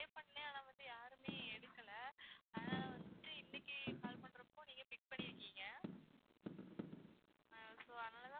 save பண்ண ஆனா வந்து யாருமே எடுக்கல ஆனா வந்து இன்னைக்கு call பண்றப்போ நீங்க pick பண்ணி இருக்கீங்க so அதுனாலதான்